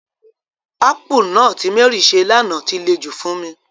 Akpu náà ti Mary se lana ti le jù fún mi.